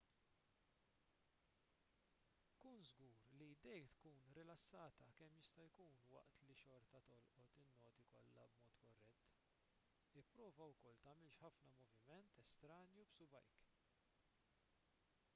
kun żgur li jdejk tkun rilassata kemm jista' jkun waqt li xorta tolqot in-noti kollha b'mod korrett ipprova wkoll tagħmilx ħafna moviment estranju b'subgħajk